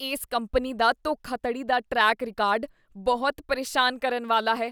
ਇਸ ਕੰਪਨੀ ਦਾ ਧੋਖਾਧੜੀ ਦਾ ਟਰੈਕ ਰਿਕਾਰਡ ਬਹੁਤ ਪ੍ਰੇਸ਼ਾਨ ਕਰਨ ਵਾਲਾ ਹੈ।